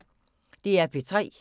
DR P3